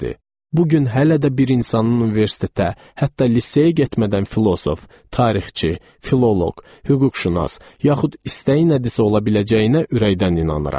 Bu gün hələ də bir insanın universitetə, hətta liseyə getmədən filosof, tarixçi, filoloq, hüquqşünas, yaxud istəyi nədirsə ola biləcəyinə ürəkdən inanıram.